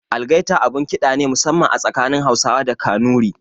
Algaita abun ƙida ne musamman a tsakanin Hausawa da Kanuri.